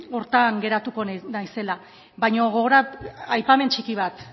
horretan geratuko naizela baina aipamen txiki bat